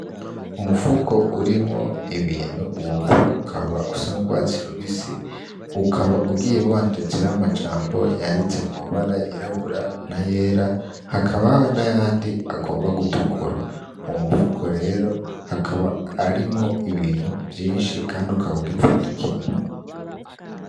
Umufuko urimwo ibintu uwo mufuko ukaba usa na urwatsi rubisi ukaba ugiye wanditseho amajambo yanditse mu mabara yirabura nayera hakabaho nayandi agomba gutukura uwo mufuko rero akaba arimwo ibintu vyinshi kandi ukaba ugipfundikiye.